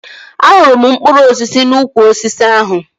Ahụrụ m mkpụrụ osisi n'ukwu osisi ahụ